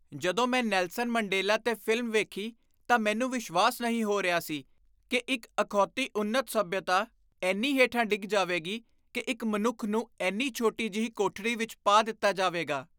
ਜਦੋਂ ਮੈਂ Nelson Mandela 'ਤੇ ਫ਼ਿਲਮ ਵੇਖੀ, ਤਾਂ ਮੈਨੂੰ ਵਿਸ਼ਵਾਸ ਨਹੀਂ ਹੋ ਰਿਹਾ ਸੀ ਕਿ ਇੱਕ ਅਖੌਤੀ ਉੱਨਤ ਸੱਭਿਅਤਾ ਇੰਨੀ ਹੇਠਾਂ ਡਿੱਗ ਜਾਵੇਗੀ ਕਿ ਇੱਕ ਮਨੁੱਖ ਨੂੰ ਇੰਨੀ ਛੋਟੀ ਜਿਹੀ ਕੋਠੜੀ ਵਿੱਚ ਪਾ ਦਿੱਤਾ ਜਾਵੇਗਾ।